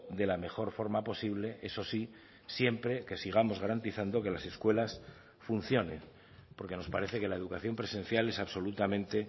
de la mejor forma posible eso sí siempre que sigamos garantizando que las escuelas funcionen porque nos parece que la educación presencial es absolutamente